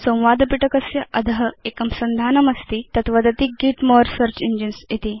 संवादपिटकस्य अध एकं संधानमस्ति तत् वदति गेत् मोरे सेऽर्च engines इति